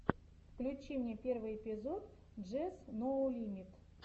включи мне первый эпизод джес ноу лимит